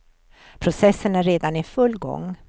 Processen är redan i full gång.